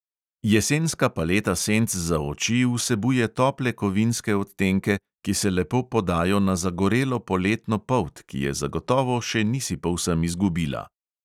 Jesenska paleta senc za oči vsebuje tople kovinske odtenke, ki se lepo podajo na zagorelo poletno polt, ki je zagotovo še nisi povsem izgubila.